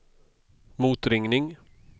motringning